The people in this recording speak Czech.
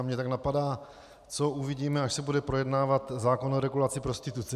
A mě tak napadá, co uvidíme, až se bude projednávat zákon o regulaci prostituce.